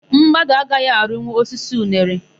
Mmadụ agaghị arịnwu osisi unere.